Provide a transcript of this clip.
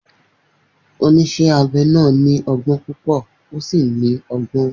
Oníṣẹ́ abẹ náà ní ọgbọ́n púpọ̀ ó sì ní ọgbọ́n.